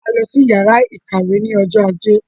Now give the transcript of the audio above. A lọ sí ìyàrá-ìkàwé ní ọjọ́ ajé.